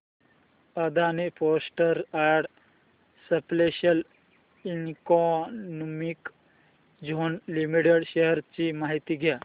Adani ports and special economic zone limited shares ची माहिती द्या